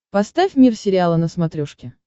поставь мир сериала на смотрешке